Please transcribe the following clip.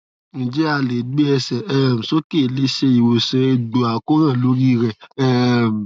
njẹ a le gbe ẹsẹ um soke le se iwosan egbo akoran lori re um